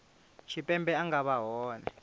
tshipembe a nga vha hone